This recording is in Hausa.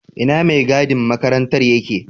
Ina maigadin makarantar yake?